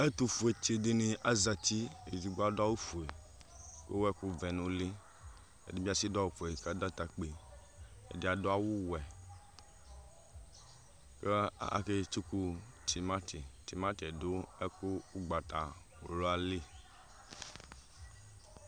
Ɛtʋfuetsi dini azati , edigbo adʋ awʋ fue k'ewu ɛkʋ vɛ n'ʋli, ɛdi bi atsi dʋ awʋ fue k'adʋ atakpi, ɛdi adʋ awʋ wɛ kʋ aketsuku tʋmati, tʋmati dʋ ɛkʋ ugbatawla li